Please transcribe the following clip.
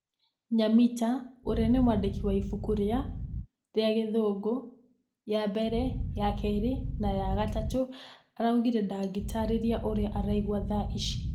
Nyamita ũrĩa nĩ mwandĩki wa ibuku rĩa .....rĩa gĩthũngũ .....ya mbere, ya kerĩ na ya gatatũ araugire ndangĩtarĩria ũrĩa araigua tha ici.